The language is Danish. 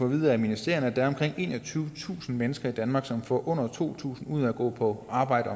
vide af ministerierne der er omkring enogtyvetusind mennesker i danmark som får under to tusind kroner ud af at gå på arbejde